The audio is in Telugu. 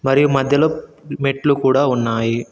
మరియు మధ్యలో మెట్లు కూడా ఉన్నాయి.